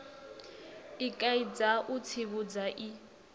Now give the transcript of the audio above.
i kaidza u tsivhudza i